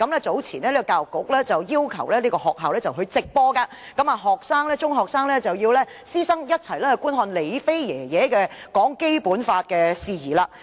早前，教育局曾要求學校直播該研討會，並且中學師生須觀看"李飛爺爺"談《基本法》的事宜。